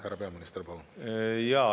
Härra peaminister, palun!